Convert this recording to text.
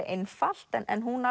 einfalt en hún